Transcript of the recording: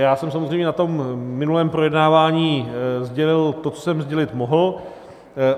Já jsem samozřejmě na tom minulém projednávání sdělil to, co jsem sdělit mohl.